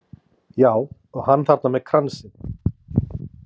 Já, og hann þarna með kransinn.